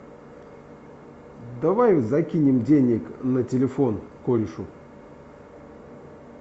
давай закинем денег на телефон корешу